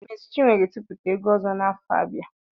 Mési chinwo ga etiputa egwu ozo n'afo abia